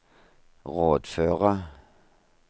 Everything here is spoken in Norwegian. rådføre